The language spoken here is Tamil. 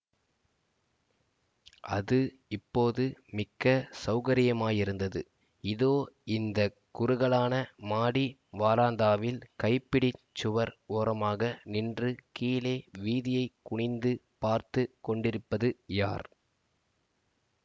அது இப்போது மிக்க சௌகரியமாயிருந்தது இதோ இந்த குறுகலான மாடி வாராந்தாவில் கைப்பிடிச் சுவர் ஓரமாக நின்று கீழே வீதியைக் குனிந்து பார்த்து கொண்டிருப்பது யார்